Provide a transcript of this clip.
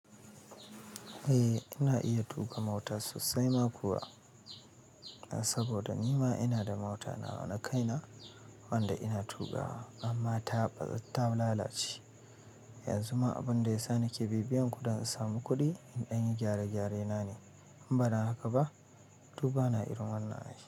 Eh ina iya tuƙa mota sosai ma kuwa, saboda nima ina da mota nawa ma kaina wanda ina tuƙawa amma ta ta lalace. Yanzu ma abin da ya sa nake bibiyan ku don in samu kuɗi in dan yi gyare-gyare na ne. In ba dan haka ba, to bana irin wannan ai.